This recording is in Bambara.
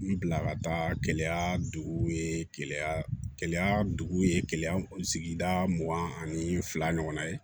N bila ka taa gɛlɛya duguw ye gɛlɛya duguw ye keleya sigida mugan ani fila ɲɔgɔn ye